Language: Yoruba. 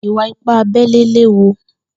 Ìwà ìpá àbẹlé léwú